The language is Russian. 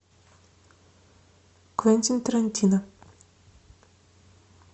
квентин тарантино